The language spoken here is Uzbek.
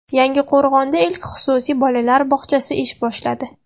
Yangiqo‘rg‘onda ilk xususiy bolalar bog‘chasi ish boshladi.